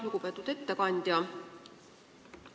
Lugupeetud ettekandja!